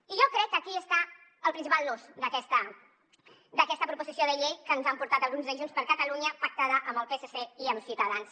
i jo crec que aquí està el principal nus d’aquesta proposició de llei que ens ha portat el grup de junts per catalunya pactada amb el psc i amb ciutadans